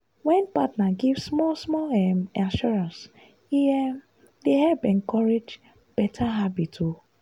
when partner give small-small um assurance e um dey help encourage better habit. um